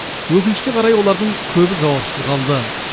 өкінішке қарай олардың көбі жауапсыз қалды